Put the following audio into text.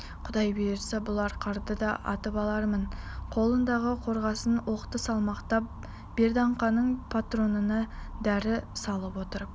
құдай бұйыртса бұл арқарды да атып алармын қолындағы қорғасын оқты салмақтап берданканың патронына дәрі салып отырып